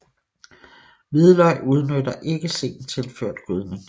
Hvidløg udnytter ikke sent tilført gødning